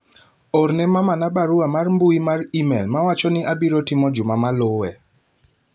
orne mamana barua mar mbui mar email mawacho ni abiro timo juma ma luwe